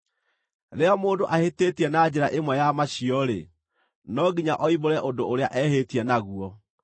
“ ‘Rĩrĩa mũndũ ahĩtĩtie na njĩra ĩmwe ya macio-rĩ, no nginya oimbũre ũndũ ũrĩa ehĩtie naguo,